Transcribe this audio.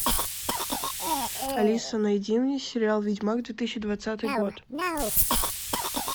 алиса найди мне сериал ведьмак две тысячи двадцатый год